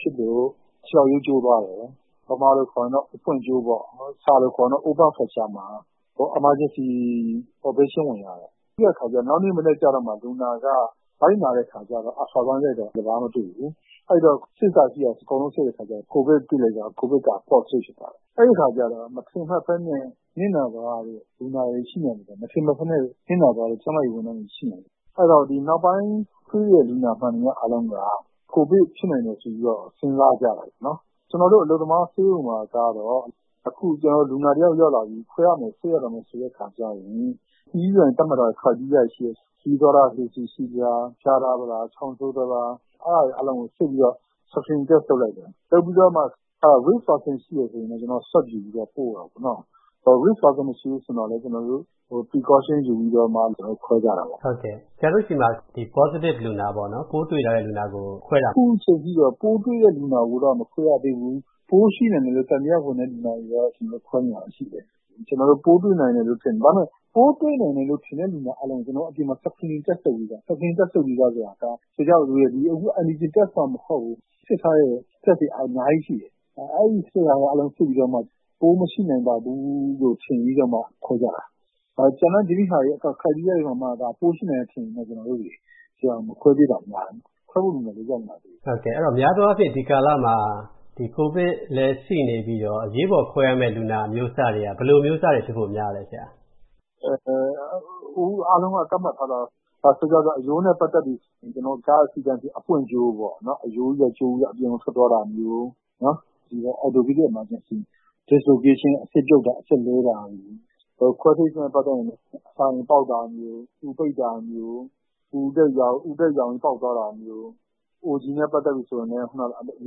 ဖြစ်လို့ ခြေထောက်ရိုးကျိုးသွားတယ်။ ဗမာလိုခေါ်ရင်တော့ အဖွင့်ကျိုးပေါ့။ စာလိုခေါ်ရင်တော့ Open Fracture မှာ Emergency Operation ဝင်ရတယ်။ ပြီးတဲ့အခါကျ နောက်မနေ့မနက်ကျမှ လူနာက ဗိုက်နာတဲ့အခါ Ultrasound ရိုက်တော့ ဘာမှမတွေ့ဘူး။ အဲတော့ စစ်စရာရှိတာတွေ အကုန်စစ်တဲ့အခါကျတော့ ကိုဗစ်စစ်လိုက်တော့ ကိုဗစ်က Positive တွေ့သွားတယ်။ အဲဒီအခါကျတော့ မထင်မှတ်ဘဲ နစ်နာသွားရတဲ့ လူနာတွေ ရှိနိုင်သလို မထင်မှတ်ဘဲနဲ့ နစ်နာသွားတဲ့ ကျန်းမာရေးဝန်ထမ်းတွေ ရှိနိုင်တယ်။ အဲတော့ နောက်ပိုင်း ကုတဲ့လူနာအားလုံးက ကိုဗစ်ဖြစ်နိုင်တယ် ဆိုပြီးတော့ စဉ်းစားကြတာပေါ့။ “ကျနော်တို့ အလုပ်သမားဆေးရုံမှာကတော့ အခု လူနာတယောက် ရောက်လာပြီ၊ ခွဲစိတ်ရမယ်ဆိုရင် သတ်မှတ်ထားတဲ့ Criteria တွေရှိတယ်။ ခရီးသွားထားတာ ရှိလား၊ ဖျားထားလား၊ ချောင်းဆိုးသလား၊ အဲဒါတွေ အားလုံးကို စစ်ပြီးတော့ Screen Test လုပ်လိုက်တယ်။ လုပ်ပြီးတော့မှ Risk Persons ရှိတယ်ဆိုရင် Swab ယူပြီး ပို့လိုက်တယ်။ Risk Persons မရှိဘူးဆိုရင်တော့ Precaution ယူပြီးတော့မှ ခွဲစိတ်ကြတာပေါ့။” ဆရာတို့ဆီမှာ ဒီ Positive လူနာ၊ ပိုးတွေ့ထားတဲ့လူနာ ခွဲစိတ်တာ။ “ခုချိန်ထိတော့ ပိုးတွေ့တဲ့လူနာကိုတော့ မခွဲစိတ်ရသေးဘူး။ ပိုးရှိနိုင်တယ်လို့ သံသယဝင်တဲ့ လူနာတွေတော့ ခွဲစိတ်နေရတာ ရှိတယ်။ ဒါပေမယ့် ပိုးတွေ့နိုင်တယ်လို့ ထင်တဲ့လူနာအားလုံးကို ကျနော်တို့ အပြင်မှာ Screening Test လုပ်ပြီးသား။ Screening Test လုပ်ပြီးသား ဆိုတာက ဒီ Antigen Test မှ မဟုတ်ဘူး။ စစ်ထားတဲ့ Test တွေက အများကြီးရှိတယ်။ အဲဒါတွေအားလုံး စစ်ပြီးမှ ပိုးမရှိနိုင်ပါဘူးလို့ ထင်ပြီးတော့မှ ခွဲကြတာ။ ကျန်တဲ့ ဒီ့ပြင် Criteria တွေပေါ်မှာ ပိုးရှိနိုင်တယ်လို့ ထင်ရင် ကျနော်တို့ မခွဲစိတ်သေးတာများတယ်။ ခွဲစိတ်ဖို့လူနာလည်း ရောက်မလာသေးဘူး။” များသောအားဖြင့် ဒီကာလမှာ ကိုဗစ်လည်း ရှိနေပြီးတော့ အရေးပေါ်ခွဲစိတ်ရမယ့် လူနာအမျိုးအစားတွေက ဘယ်လိုအမျိုးအစားတွေ ဖြစ်ဖို့များလဲဆရာ။ “အခု အားလုံးက သတ်မှတ်ထားတာက အရိုးနဲ့ပတ်သက်ပြီး ကား Accident ဖြစ်ရင် အဖွင့်ကျိုးပေါ့၊ အရိုးကြီးက ကျိုးပြီး အပြင်ကို ထွက်သွားတာမျိုး။ Orthopedic Emergency Dislocation ဆိုတဲ့ အဆစ်ပြုတ်တာ၊ အဆစ်လွဲတာတွေ။ ခွဲစိတ်နဲ့ပတ်သက်ရင် အစာအိမ်ပေါက်တာမျိုး၊ အူပိတ်တာမျိုး၊ အူအတက်ရောင်ပြီး ပေါက်သွားတာမျိုး၊ OG နဲ့ ပတ်သက်ရင်လည်း အ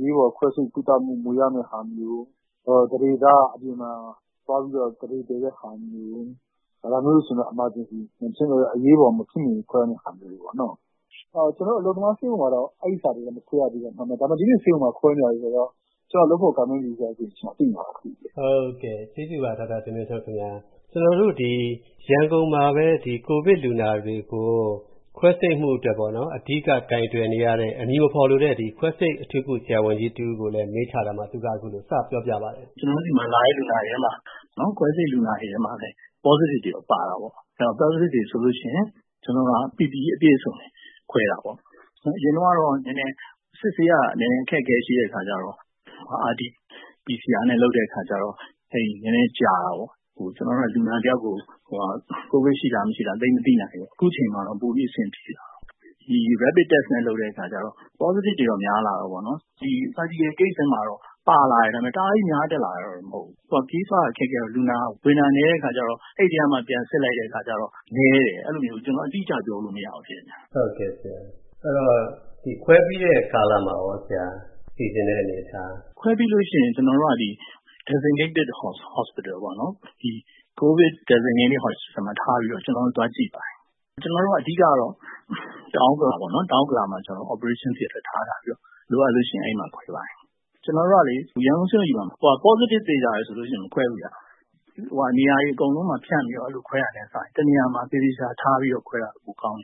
ရေးပေါ်ခွဲစိတ်ပြီး မွေးရမယ့်ဟာမျိုး၊ သန္ဓေသားက အပြင်မှာသွားပြီး သန္ဓေတည်တဲ့ဟာမျိုး၊ ဒါမျိုးတွေဆိုရင်တော့ အရေးပေါ်ခွဲစိတ်ရမယ့် ဟာမျိုးတွေပေါ့။ အလုပ်သမားဆေးရုံမှာတော့ အဲဒီဟာတွေ မခွဲစိတ်ရသေးဘူး။ ဒါပေမယ့် ဒီ့ပြင်ဆေးရုံမှာ ခွဲစိတ်နေတာတွေတော့ ကျနော့် လုပ်ဖော်ကိုင်ဘက်တွေကတဆင့် သိရတယ်။” ရန်ကုန်မှာပဲ ကိုဗစ်လူနာတွေကို ခွဲစိတ်မှုအတွက် အဓိက ကိုင်တွယ်နေရတဲ့ အမည်မဖော်လိုတဲ့ ခွဲစိတ်အထူးကု ဆရာဝန်ကြီးတဦးကိုလည်း မေးထားရာမှာ သူက အခုလို စပြောပါတယ်။ “ကျနော်တို့ဆီမှာလာတဲ့ လူနာတွေထဲမှာ ခွဲစိတ်လူနာတွေထဲမှာလည်း Positive တွေပါတာပေါ့။ Positive တွေဆိုရင်တော့ ကျနော်တို့က PPE ဝတ်စုံအပြည့်နဲ့ ခွဲစိတ်တာပေါ့။ အရင်တုန်းကတော့ စစ်ဆေးရတာ နည်းနည်း အခက်အခဲရှိတဲ့အခါကြတော့ PCR နဲ့ လုပ်တဲ့အခါကျတော့ နည်းနည်းကြာတာပေါ့။ ကျနော်တို့က လူနာတယောက်ကို ကိုဗစ်ရှိလား မရှိလား သိပ်မသိနိုင်ဘူး။ အခုအချိန်မှာတော့ ပိုပြီး အဆင်ပြေလာတယ်။ ဒီ Rapid Test နဲ့ လုပ်တဲ့အခါကြတော့ Positive တွေတော့ များလာတာပေါ့။ Surgical Case ထဲမှာတော့ ပါလာတယ်။ ဒါပေမယ့် သိပ်အများကြီး တက်လာတာတော့ မဟုတ်ဘူး။ အခု အဓိက ခရီးသွားရတာ ခက်ခဲတော့ လူနာကဝင်တာ နည်းတဲ့အခါကြတော့ အဲဒီထဲကမှ ပြန်စစ်လိုက်တော့ နည်းတယ်။ ကျနော် အတိအကျ ပြောလို့မရဘူး ဖြစ်နေတယ်။” ခွဲစိတ်ပြီးတဲ့ကာလမှာရောဆရာ။ စီစဉ်တဲ့အနေအထား။ “ခွဲစိတ်ပြီးလို့ရှိရင်တော့ COVID Designated Hospital မှာ ထားပြီးတော့ ကျနော်တို့ သွားကြည့်ပါတယ်။ အဓိကတော့ တောင်ဥက္ကလာမှာ Operation အဖြစ် ထားထားပြီးတော့ လိုအပ်လို့ရှိရင် အဲဒီမှာခွဲစိတ်ပါတယ်။ ကျနော်တို့က ရန်ကုန်ဆေးရုံကြီးမှာ Positive သေချာရင် မခွဲစိတ်ဘူးဗျ။ နေရာတွေ အကုန်လုံးမှာဖြန့်ပြီး ခွဲစိတ်တာနဲ့စာရင် တနေရာမှာ သေသေချာချာထားပြီး ခွဲစိတ်တာ ပိုကောင်း